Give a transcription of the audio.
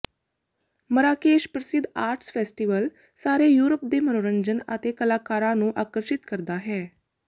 Marrakesh ਪ੍ਰਸਿੱਧ arts festival ਸਾਰੇ Europe ਦੇ ਮਨੋਰੰਜਨ ਅਤੇ ਕਲਾਕਾਰਾਂ ਨੂੰ ਆਕਰਸ਼ਿਤ ਕਰਦਾ ਹੈ